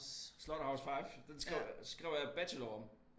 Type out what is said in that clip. Slaughterhouse-Five den skrev skrev jeg bachelor om